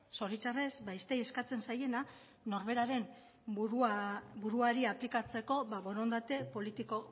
zoritxarrez besteei eskatzen zailena norberaren buruari aplikatzeko borondate politiko